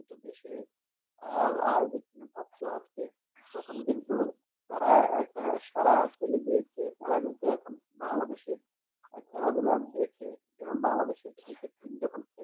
ছোট দেশের আর আর যে সব ভক্ত আছে তখন কিন্তু তারা একটা সারা তারা কিন্তু এখন বাংলাদেশ এর খেলাধুলা দেখে যেমন বাংলাদেশ এর কিছু কিছু team যখন খেলে